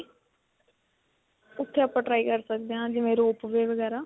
ਉੱਥੇ ਆਪਾਂ try ਕਰ ਸਕਦੇ ਹਾਂ, ਜਿਵੇਂ rope way ਵਗੈਰਾ.